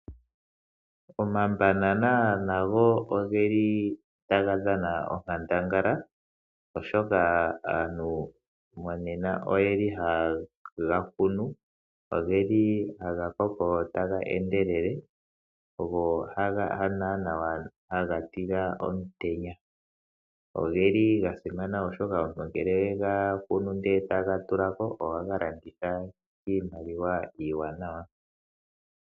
Omabana nago ogeli taga dhana onkandangala, oshoka aantu monena ohaye ga kunu . Ogeli haga koko taga endelele go hago naana haga tila omutenya. Ogeli ga simana, oshoka nngele owe ga kunu ndele toga landitha ohaga zi iimaliwa iiwanawa.